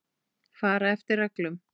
Fara eftir reglum.